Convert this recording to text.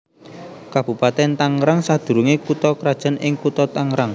Kabupatèn Tangerang sadurungé kutha krajan ing Kutha Tangerang